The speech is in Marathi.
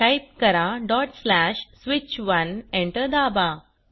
टाईप करा switch1 एंटर दाबा